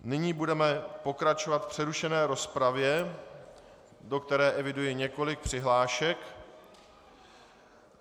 Nyní budeme pokračovat v přerušené rozpravě, do které eviduji několik přihlášek.